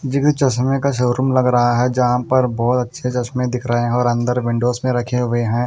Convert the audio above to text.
इस जगह चश्मे का शोरुम लग रहां है जहाँ पर बहोत अच्छे चश्मे दिख रहे है और अंदर विंडोस में रखे हुए है।